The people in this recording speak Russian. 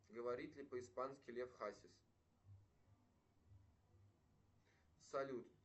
говорит ли по испански лев хасис салют